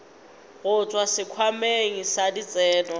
go tšwa sekhwameng sa ditseno